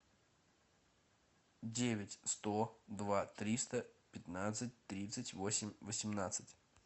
девять сто два триста пятнадцать тридцать восемь восемнадцать